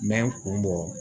N bɛ n kun bɔ